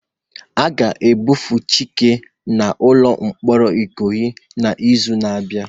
A ga-ebufe Chike n'ụlọ mkpọrọ Ikoyi n'izu na-abịa